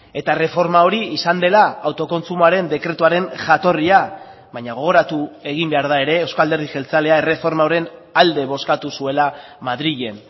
eta erreforma hori izan dela autokontsumoaren dekretuaren jatorria baina gogoratu egin behar da ere euzko alderdi jeltzalea erreforma horren alde bozkatu zuela madrilen